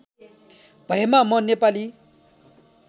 भएमा म नेपाली